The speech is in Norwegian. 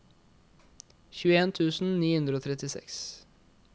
tjueen tusen ni hundre og trettiseks